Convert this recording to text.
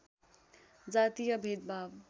जातीय भेदभाव